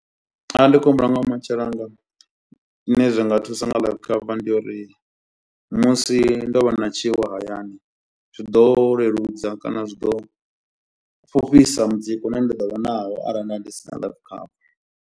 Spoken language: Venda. Arali ndi khou humbula ngaha vhumatshelo hanga zwine zwa nga thusa nga life cover ndi yo uri musi ndo vha na tshiwo hayani zwi ḓo leludza kana zwi ḓo fhufhisa mutsiko une nda ḓo vha nawo arali na ndi sina life cover.